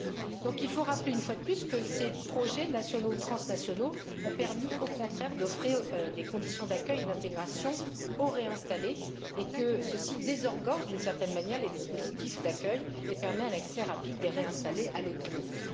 Il convient donc de rappeler une fois de plus que ces projets nationaux ou transnationaux ont permis, au contraire, d'offrir des conditions d'accueil et d'intégration aux réinstallés et que ceci désengorge d'une certaine manière les dispositifs d'accueil et permet un accès rapide des réinstallés à l'autonomie.